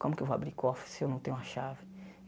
Como que eu vou abrir cofre se eu não tenho a chave?